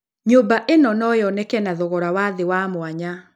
Nyũmba ĩno no yoneke na thogora wa thĩ wa mwanya.